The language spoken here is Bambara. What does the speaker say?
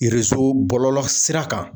bɔlɔlɔ sira kan